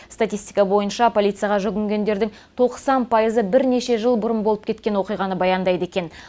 статистика бойынша полицияға жүгінгендердің тоқсан пайызы бірнеше жыл бұрын болып кеткен оқиғаны баяндайды екен